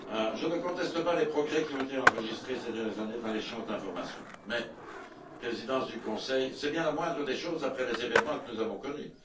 Je ne conteste pas les progrès qui ont été enregistrés ces dernières années dans l'échange d'informations mais, Présidence du Conseil, c'est bien la moindre des choses après les événements que nous avons connus.